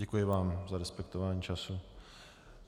Děkuji vám za respektování času.